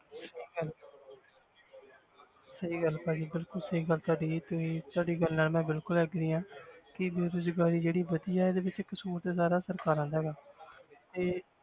ਸਹੀ ਗੱਲ ਹੈ ਭਾਜੀ ਬਿਲਕੁਲ ਸਹੀ ਗੱਲ ਤੁਹਾਡੀ ਤੁਸੀਂ ਤੁਹਾਡੀ ਗੱਲ ਨਾਲ ਮੈਂ ਬਿਲਕੁਲ agree ਹਾਂ ਕਿ ਬੇਰੁਜ਼ਗਾਰੀ ਜਿਹੜੀ ਵਧੀ ਹੈ ਇਹਦੇ ਵਿੱਚ ਕਸ਼ੂਰ ਤੇ ਸਾਰਾ ਸਰਕਾਰਾਂ ਦਾ ਹੈਗਾ ਇਹ